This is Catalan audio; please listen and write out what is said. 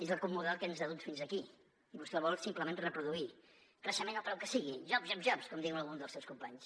és el model que ens ha dut fins aquí i vostè el vol simplement reproduir creixement al preu que sigui jobs jobs jobs com diuen alguns dels seus companys